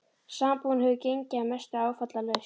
Sambúðin hefur gengið að mestu áfallalaust.